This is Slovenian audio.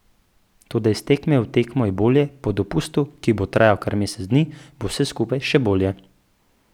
Toda iz tekme v tekmo je bolje, po dopustu, ki bo trajal kar mesec dni, bo vse skupaj še bolje.